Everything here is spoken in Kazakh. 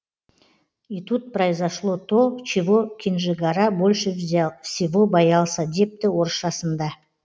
и тут произошло то чего кенжегара больше всего боялся депті орысшасында